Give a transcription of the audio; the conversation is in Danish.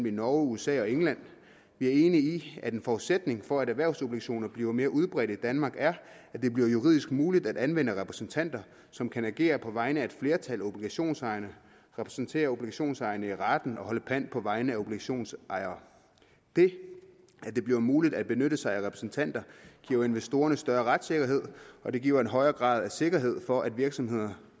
i norge usa og england vi er enige i at en forudsætning for at erhvervsobligationer bliver mere udbredte i danmark er at det bliver juridisk muligt at anvende repræsentanter som kan agere på vegne af et flertal af obligationsejere repræsentere obligationsejere i retten og holde pant på vegne af obligationsejere det at det bliver muligt at benytte sig af repræsentanter giver investorerne større retssikkerhed og det giver en højere grad af sikkerhed for at virksomhederne